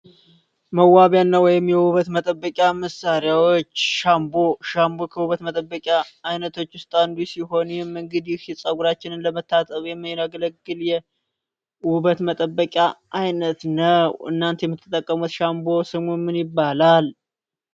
ሻምቦ መዋቢያና ወይም የውበት መጠበቂያ መሣሪያዎች ሻምባ ከውበት መጠበቂያ አይነቶች ውስጥ አንዱ ሲሆን ፀጉራችንን ለመታጠብ የሚያገለግል የውበት መጠበቂያ አይነት ነው እናንተ የምትጠቀሙት ሻምቦ ስሙ ምን ይባላል?